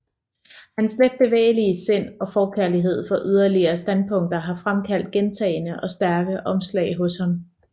Hans letbevægelige sind og forkærlighed for yderlige standpunkter har fremkaldt gentagne og stærke omslag hos ham